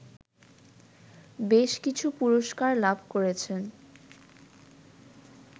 বেশকিছু পুরস্কার লাভ করেছেন